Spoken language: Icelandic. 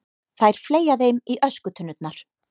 Þær fleygja þeim í öskutunnurnar.